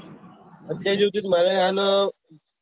અત્યારે જોયીતે હોય તો મારે